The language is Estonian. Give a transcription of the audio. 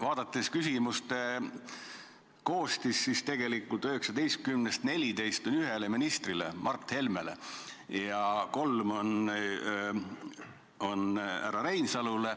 Vaadates küsimuste koostist, siis tegelikult 19-st 14 on ühele ministrile, Mart Helmele, ja kolm on härra Reinsalule.